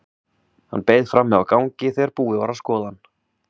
Hann beið frammi á gangi þegar búið var að skoða hann.